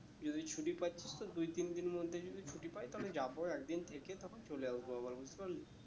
যদি ছুটি পাচ্ছিস তো দুই তিন দিন মধ্যে যদি ছুটি পাই তাহলে যাবো একদিন থেকে তারপর চলে আসবো আবার বুঝতে পারলি